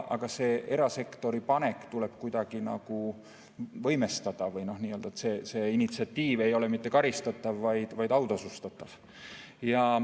Aga see erasektori panek tuleb kuidagi nagu võimestada, nii et see initsiatiiv ei ole mitte karistatav, vaid autasustatav.